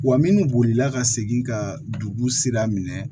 Wa min bolila ka segin ka dugu sira minɛ